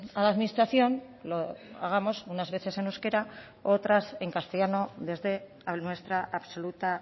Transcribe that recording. a la administración lo hagamos unas veces en euskera u otras en castellano desde nuestra absoluta